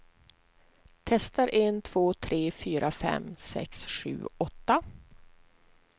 Testar en två tre fyra fem sex sju åtta.